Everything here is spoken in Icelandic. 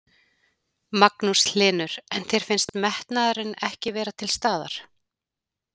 Magnús Hlynur: En þér finnst metnaðurinn ekki vera til staðar?